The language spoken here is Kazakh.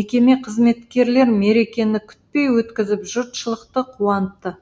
мекеме қызметкерлері мерекені күтпей өткізіп жұртшылықты қуантты